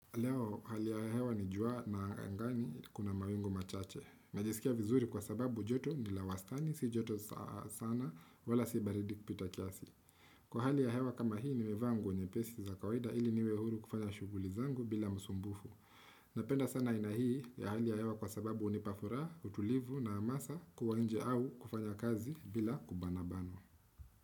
Leo hali ya hewa ni jua na angani kuna mawingu machache. Najisikia vizuri kwa sababu joto ni la wastani, si joto sana, wala si baridi kupita kiasi. Kwa hali ya hewa kama hii nimevaa nguo nyepesi za kawaida ili niwe huru kufanya shuguli zangu bila musumbufu. Napenda sana aina hii ya hali ya hewa kwa sababu hunipa furaha, utulivu na amasa kuwa nje au kufanya kazi bila kubanabanwa.